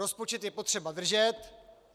Rozpočet je potřeba držet.